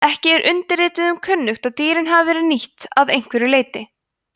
ekki er undirrituðum kunnugt að dýrin hafi verið nýtt að einhverju leyti